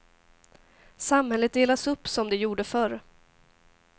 Samhället delas upp som de gjorde förr.